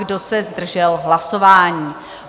Kdo se zdržel hlasování?